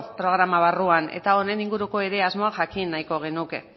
pro programa barruan eta honen inguruko asmoa ere jakin nahiko genuke